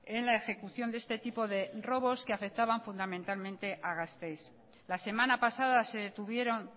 en la ejecución de este tipo de robos que afectaban fundamentalmente a gasteiz la semana pasada se detuvieron